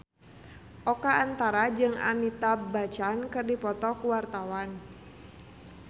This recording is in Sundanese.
Oka Antara jeung Amitabh Bachchan keur dipoto ku wartawan